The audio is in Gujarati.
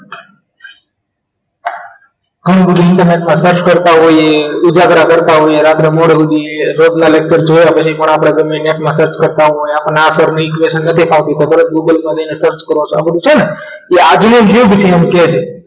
ઘણું બધું internet પર search કરતા હોઈએ ઉજાગરા કરતા હોઈએ રાત્રે મોડા સુધી રોજના lecture જોયા પછી પણ આપણે ગમે તેમ net માં search કરતા હોઈએ આપણને આ sir ની equation નથી ફાવતી ખબર છે google માં બેસીને search કરો છો આ બધું છે ને એ આજનો યુગ પછી એમ કે છે